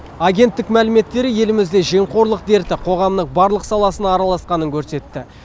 агенттік мәліметтері елімізде жемқорлық дерті қоғамның барлық саласына араласқанын көрсетті